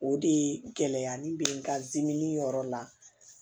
O de ye gɛlɛya nin be n ka dimi yɔrɔ la